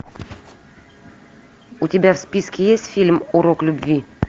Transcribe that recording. у тебя в списке есть фильм урок любви